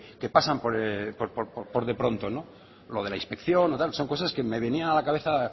que pasan por de pronto lo de la inspección o tal son cosas que me venían a la cabeza